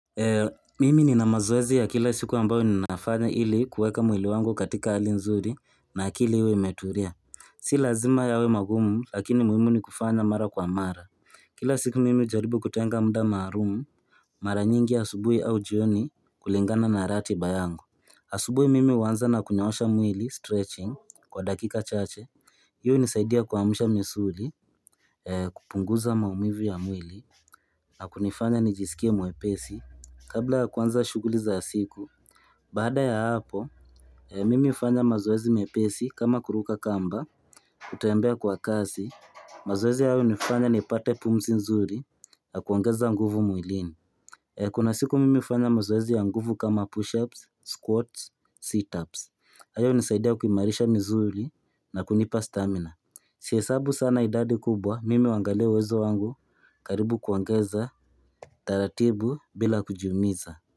Mimi nina mazoezi ya kila siku ambayo ninafanya ili kuweka mwili wangu katika hali nzuri na akili huwa imetulia sii lazima yawe magumu lakini muhimu ni kufanya mara kwa mara Kila siku mimi hujaribu kutenga muda maalum Mara nyingi asubuhi au jioni kulingana na ratiba yangu asubuhi mimi huanza na kunyoosha mwili stretching kwa dakika chache hii hunisaidia kuamsha misuli kupunguza maumivu ya mwili na kunifanya nijisikie mwepesi Kabla ya kuanza shughuli za siku Baada ya hapo, mimi hufanya mazoezi mepesi kama kuruka kamba kutembea kwa kasi, mazoezi haya hunifanya nipate pumzi nzuri Nakuongeza nguvu mwilini Kuna siku mimi hufanya mazoezi ya nguvu kama push-ups, squats, sit-ups haya hunisaidia kumarisha misuli na kunipa stamina Sihesabu sana idadi kubwa, mimi huangalia uwezo wangu karibu kuongeza taratibu bila kujiumiza.